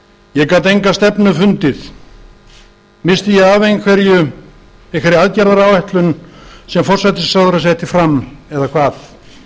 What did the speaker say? ég gat enga stefnu fundið missti ég af einhverju einhverri aðgerðaáætlun sem forsætisráðherra setti fram eða hvað